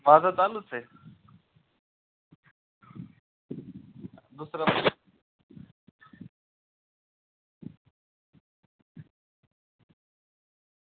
हा तर चालूच आहे.